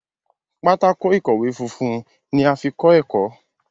Pátákó ìkọ̀wé fúnfún ní a fí kò ẹkọ.